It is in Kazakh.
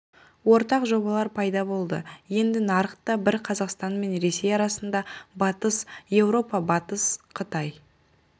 ортақ жобалар пайда болды енді нарық та бір қазақстан мен ресей арасында батыс еуропа-батыс қытай